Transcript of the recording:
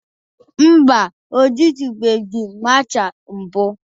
Mba, o jitubeghi masha mbụ.